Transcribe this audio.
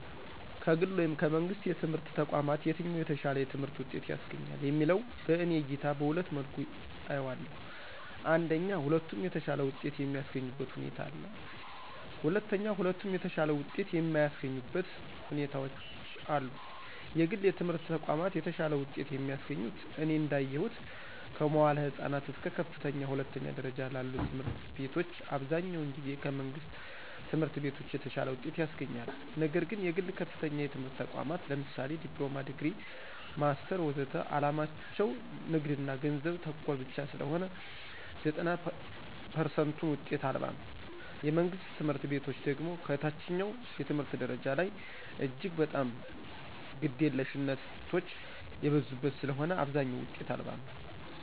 ከግል ወይም ከመንግሥት የትምህርት ተቋማት የትኛው የተሻለ የትምህርት ውጤት ያስገኛል የሚለው በእኔ እይታ በሁለት መልኩ አየዋለሁ አንደኛ ሁለቱም የተሻለ ውጤት የሚስገኙበት ሁኔታ አለ። ሁለተኛ ሁለቱም የተሻለ ውጤት የማያሰገኙበት ሁኔታዎች አሉ። የግል የትምህረት ተቋማት የተሻለ ውጤት የሚያስገኙት እኔ እዳየሁት ከመዋዕለ ህፃናት እስከ ከፍተኛ ሁለተኛ ደረጃ ላሉ ትምህርት ቤቶች አብዛኛውን ጊዜ ከመንግሥት ትምህርት ቤቶች የተሻለ ውጤት ያስገኛሉ። ነግር ግን የግል ከፍተኛ የትምህርት ተቋማት ለምሳሌ ዲፕሎማ፣ ዲግሪ፣ ማስተር ወዘተ ዓላማቸው ንግድና ገንዘብ ተኮር ብቻ ስለሆነ ዘጠና ፐርሰንቱ ውጤት አልባ ነው። የመንግስት ትምህርት ቤቶች ደግሞ ከታችኛው የትምህርት ደረጃ ላይ እጅግ በጣም ግደለሽነቶች የበዙበት ስለሆነ አብዛኛው ውጤት አልባ ነው።